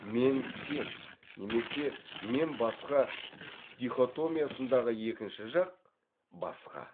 мен сен немесе мен басқа дихотомиясындағы екінші жақ басқа